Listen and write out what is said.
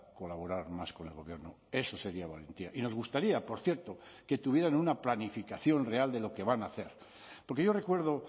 colaborar más con el gobierno eso sería valentía y nos gustaría por cierto que tuvieran una planificación real de lo que van a hacer porque yo recuerdo